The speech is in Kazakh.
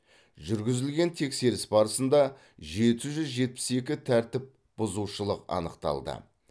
жүргізілген тексеріс барысында жеті жүз жетпіс екі тәртіпбұзушылық анықталды